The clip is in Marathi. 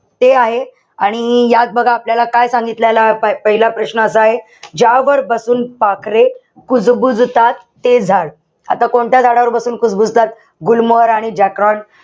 ते आहे. आणि यात बघा आपल्याला काय सांगितलेलं आहे. पहिला प्रश्न असा आहे, ज्यावर बसून पाखरे कुजबुजतात, ते झाड. आता कोणत्या झाडावर बसून कुजबुजतात? गुलमोहर आणि जॅकरोट.